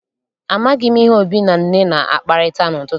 Amaghị m ihe Obi na Nne na-akparịta n'ụtụtụ.